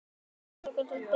Já, þú.